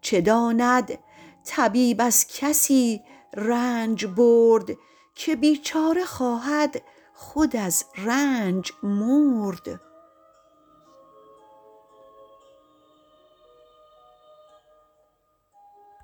چه داند طبیب از کسی رنج برد که بیچاره خواهد خود از رنج مرد